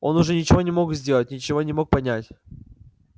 он уже ничего не мог сделать ничего не мог понять